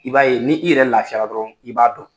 I b'a ye ni i yɛrɛ lafiyala dɔrɔwn i b'a dɔn.